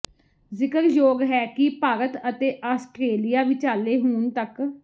ਜ਼ਿਕਰਯੋਗ ਹੈ ਕਿ ਭਾਰਤ ਅਤੇ ਆਸਟ੍ਰੇਲੀਆ ਵਿਚਾਲੇ ਹੁਣ ਤੱਕ